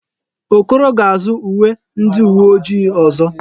Okoro ga-azụ uwe ndi uwe ojii ọzọ.